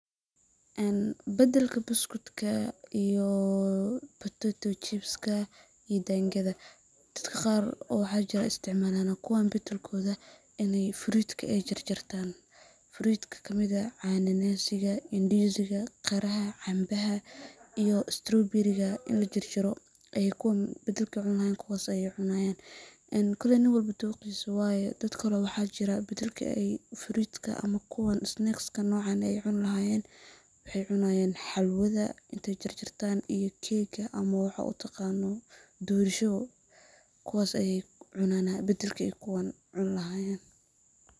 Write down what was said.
Een bedelka buskudka iyo potato chips iyo daangada, dadka qaar oo waxaa jiraan isticmaalana kuwan bedelkooda in aay fruitka aay jarjartaan, fruitka kamid ah cana nasiga, ndiziga, qaraha, canbaha iyo straaw beriga, in lajarjaro ayaa kuwan bedelkaay cuni lahayeen kuwaas ayeey cunaayaan, een koleey nin walbo dooqiisa waye, dad kale oo waxaa jira bedelka aay fruitka ama kuwan [snacks aay cuni lahayeen, waxaay cunaayaan xalwada intaay jarjartaan iyo keega, ama waxaa utaqaano, dorsho, kuwaas ayeey cunaana bedelka ayaa kuwan cun lahayeen.